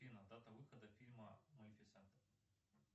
афина дата выхода фильма малифисента